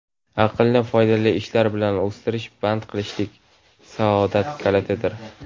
aqlni foydali ishlar bilan o‘stirish band qilishlik saodat kalitidir.